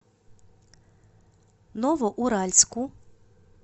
новоуральску